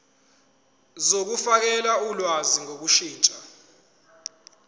zokufakela ulwazi ngokushintsha